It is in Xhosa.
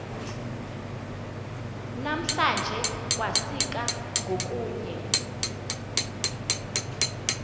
namhlanje kwasika ngokunye